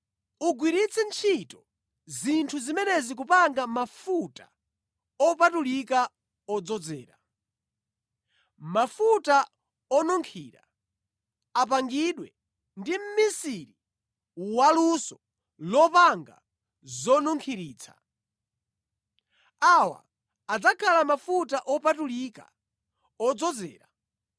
Ugwiritse ntchito zinthu zimenezi kupanga mafuta opatulika odzozera, mafuta onunkhira, apangidwe ndi mʼmisiri waluso lopanga zonunkhiritsa. Awa adzakhala mafuta opatulika odzozera.